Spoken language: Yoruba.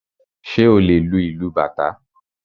Ṣé o lè lu ìlú bàtá?